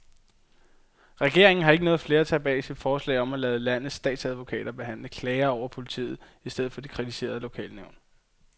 Regeringen har ikke noget flertal bag sit forslag om at lade landets statsadvokater behandle klager over politiet i stedet for de kritiserede lokalnævn.